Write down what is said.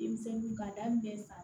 Denmisɛnninw ka daminɛ sa